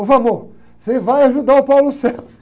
Ô, você vai ajudar o.